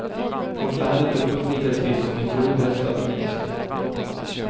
Vårt land är inte fullt lika trist som ni tror, herr statsminister.